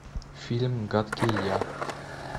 фильм гадкий я